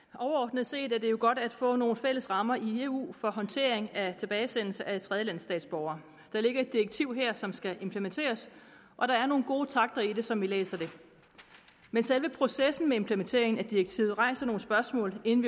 overordnet set er det jo godt at få nogle fælles rammer i eu for håndtering af tilbagesendelse af tredjelandsstatsborgere der ligger et direktiv her som skal implementeres og der er nogle gode takter i det som vi læser det men selve processen med implementeringen af direktivet rejser nogle spørgsmål inden